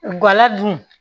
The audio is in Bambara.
Gala dun